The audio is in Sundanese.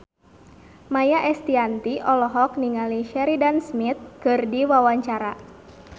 Maia Estianty olohok ningali Sheridan Smith keur diwawancara